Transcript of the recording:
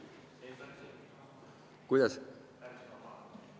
Kuidas?